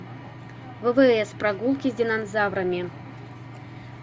ввс прогулки с динозаврами